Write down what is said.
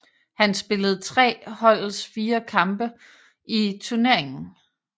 Han spillede tre holdets fire kampe i turneringen